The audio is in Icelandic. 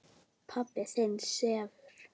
Pabbi þinn sefur.